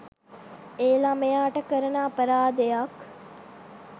ඒ ළමයාට කරන අපරාධයක්.